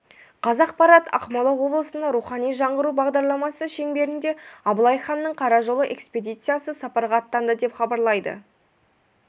қазақпарат ақмола облысында рухани жаңғыру бағдарламасы шеңберінде абылай ханның қара жолы экспедициясы сапарға аттанды деп хабарлайды